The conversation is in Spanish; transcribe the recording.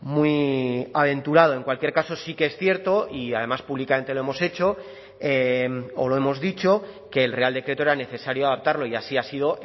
muy aventurado en cualquier caso sí que es cierto y además públicamente lo hemos hecho o lo hemos dicho que el real decreto era necesario adaptarlo y así ha sido